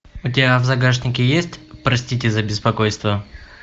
у тебя в загашнике есть простите за беспокойство